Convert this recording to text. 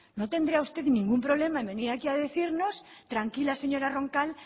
no tendría usted ningún problema en venir aquí a decirnos tranquila señora roncal